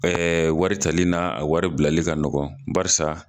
wari tali n'a a wari bilali ka nɔgɔn barisa